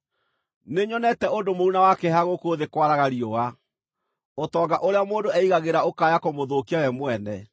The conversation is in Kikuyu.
Nĩnyonete ũndũ mũũru na wa kĩeha gũkũ thĩ kwaraga riũa: ũtonga ũrĩa mũndũ eigagĩra ũkaya kũmũthũkia we mwene,